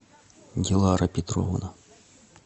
дилара петровна